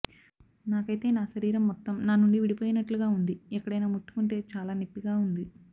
నాకైతే నా శరీరం మొత్తం నా నుండి విడిపోయినట్లుగా వుంది ఎక్కడయినా ముట్టుకుంటే చాలా నెప్పిగా వుంది